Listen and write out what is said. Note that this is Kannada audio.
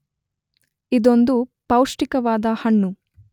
ಇದೊಂದು ಪೌಷ್ಟಿಕವಾದ ಹಣ್ಣು.